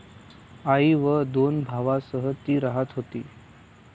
आई व दोन भावांसह ती राहत होती.